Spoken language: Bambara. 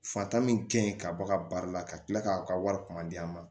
Fata min ka ɲi ka bɔ a ka baara la ka kila k'aw ka wari kuma di an ma